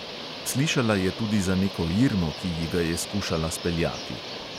Slišala je tudi za neko irmo, ki ji ga je skušala speljati.